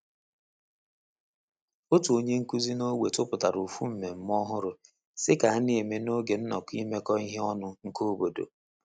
Otu onye nkuzi n'ogbe tupụtara ofu mmemme ọhụrụ si ka a n'eme n'oge nnọkọ imekọ ihe ọnụ nke obodo.